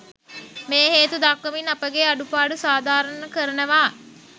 මේ හේතු දක්වමින් අපගේ අඩුපාඩු සාධාරණ කරනවා.